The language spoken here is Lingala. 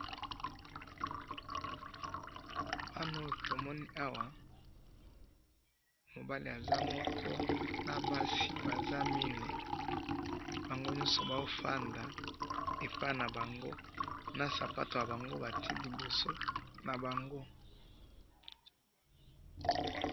tomoni awa, mobali aza moko, nabasi Baza mine, bangonyoso bazofanda epa nabango, nasapato nabango batye liboso nabango.